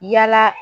Yala